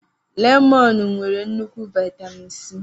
Lemọnụ nwere nnukwu viatamịn C.